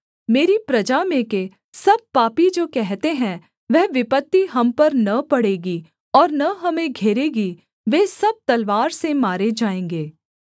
मेरी प्रजा में के सब पापी जो कहते हैं वह विपत्ति हम पर न पड़ेगी और न हमें घेरेगी वे सब तलवार से मारे जाएँगे